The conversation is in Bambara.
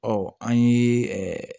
Ɔ an ye